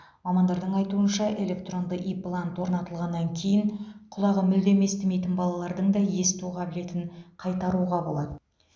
мамандардың айтуынша электронды имплант орнатылғаннан кейін құлағы мүлдем естімейтін балалардың да есту қабілетін қайтаруға болады